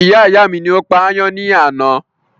Iyá ìyá mi ni ó pa ayán ní àná